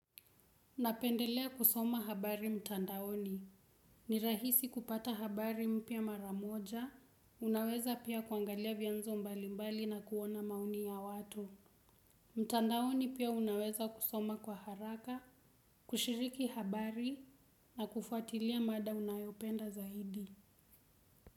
Napendelea kusoma habari mtandaoni. Ni rahisi kupata habari mpya mara moja, unaweza pia kuangalia vyanzo mbalimbali na kuona maoni ya watu. Mtandaoni pia unaweza kusoma kwa haraka, kushiriki habari na kufuatilia mada unayopenda zaidi.